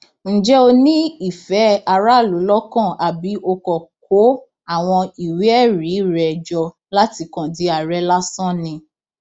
ǹjẹ ó ní ìfẹ aráàlú lọkàn àbí ó kàn kó àwọn ìwéẹrí rẹ jọ láti kàn di àárẹ lásán ni